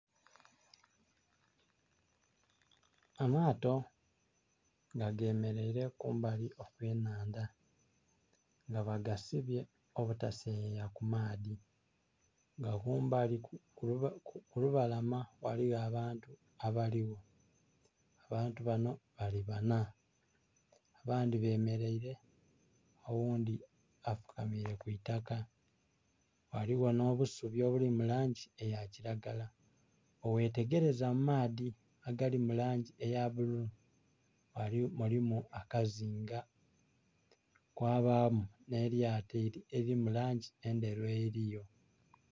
Amaato nga gemeleile kumbali okw'ennhandha, nga bagasibye obutaseyeya ku nnhandha nga kumbali ku lubalama ghaliyo abantu abaligho. Abantu banho bali banha abandhi bemeleile oghundhi afukamiire ku itaka ghaligho nh'obusubi obuli mu langi eya kilagala. Bwe ghtegerza mu maadhi agali mu langi eya bululu mulimu akazinga kwa baamu nh'e lyato elili mu langi endheru eliyo.